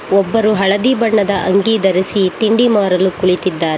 ಒಬ್ಬರು ಹಳದಿ ಬಣ್ಣದ ಅಂಗಿ ಧರಿಸಿ ತಿಂಡಿ ಮಾರಲು ಕುಳಿತಿದ್ದಾರೆ.